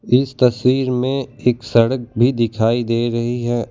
इस तस्वीर में एक सड़क भी दिखाई दे रहीं हैं ओ --